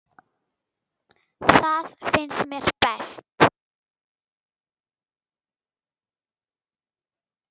Það finnst mér best.